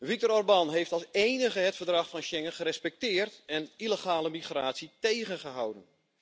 Viktor Orbán heeft als enige het Verdrag van Schengen gerespecteerd en illegale migratie tegengehouden.